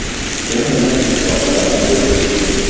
U meni quchoqlab, o‘pib qo‘ydi.